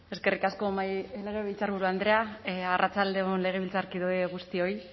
eskerrik asko legebiltzarburu andrea arratsalde on legebiltzarkide guztioi